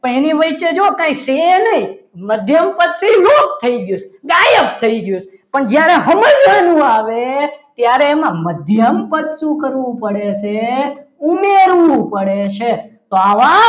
પણ એની વચ્ચે જો કંઈ છે નહીં મધ્યમ પદ એ લુપ્ત થઈ ગયું છે ગાયબ થઈ ગયું છે પણ જ્યારે સમજવાનું આવે ત્યારે એમાં મધ્યમ પદ શું કરવું પડે છે. ઉમેરવું પડે છે તો આવા